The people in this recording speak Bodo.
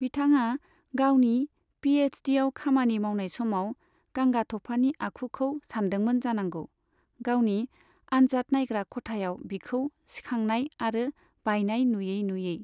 बिथाङा गावनि पी एच डीआव खामानि मावनाय समाव गांगाथफानि आखुखौ सानदोंमोन जानांगौ, गावनि आन्जाद नायग्रा खथायाव बिखौ सिखांनाय आरो बायनाय नुयै नुयै।